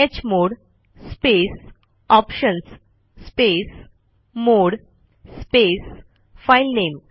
chmod space options space mode space filename